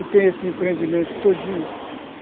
E tem esse empreendimento todinho.